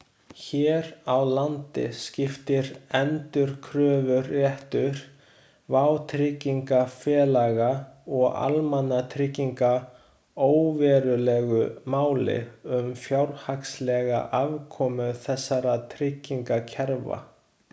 Hér á landi skiptir endurkröfuréttur vátryggingafélaga og almannatrygginga óverulegu máli um fjárhagslega afkomu þessara tryggingakerfa.